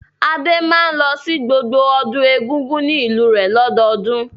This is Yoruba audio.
Adé máa ń lọ sí gbogbo ọdún Egungun ní ìlú rẹ̀ lọ́dọọdún.